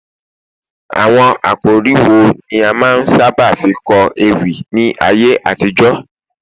àwọn àkòrí wo ni a ma n saba fi kó ewi ní ayé àtijó